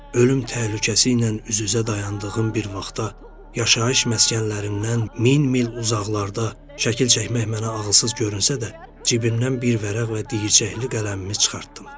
Ölüm təhlükəsi ilə üz-üzə dayandığım bir vaxtda yaşayış məskənlərindən min mil uzaqlarda şəkil çəkmək mənə ağılsız görünsə də, cibimdən bir vərəq və diyircəkli qələmimi çıxartdım.